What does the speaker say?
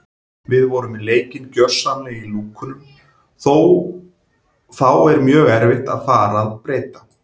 Við vorum með leikinn gjörsamlega í lúkunum þá er mjög erfitt að fara að breyta.